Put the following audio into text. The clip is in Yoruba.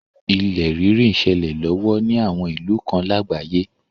Ilẹ̀ rírì n ṣẹlẹ̀ lọ́wọ́ ni àwọn ìlú kan lágbàáyé.